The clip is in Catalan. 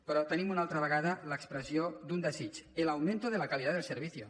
però tenim una altra vegada l’expressió d’un desig el aumento de la calidad del servicio